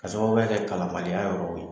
K'a sababuya kɛ kalanbaliya yɔrɔw ye